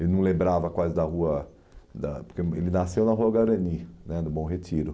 Ele não lembrava quase da rua da porque ele nasceu na rua Garani, no Bom Retiro.